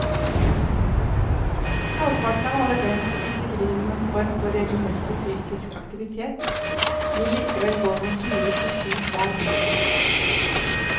Halvparten av alle dem som ikke driver noen form for regelmessig fysisk aktivitet, vil likevel gå noen turer på ski hver vinter.